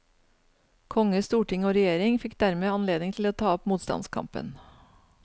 Konge, storting og regjering fikk dermed anledning til å ta opp motstandskampen.